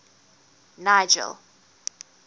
nigel